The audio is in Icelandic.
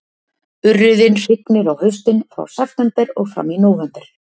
Urriðinn hrygnir á haustin, frá september og fram í nóvember